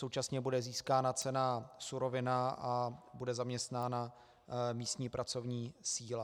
Současně bude získána cena surovina a bude zaměstnána místní pracovní síla.